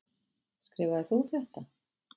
Skrifaðir þú þetta?